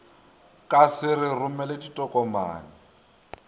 ka se re romele ditokomane